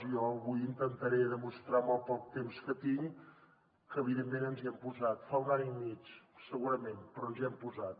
jo avui intentaré demostrar amb el poc temps que tinc que evidentment ens hi hem posat fa un any i mig segurament però ens hi hem posat